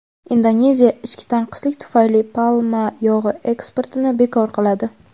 Indoneziya ichki tanqislik tufayli palma yog‘i eksportini bekor qiladi.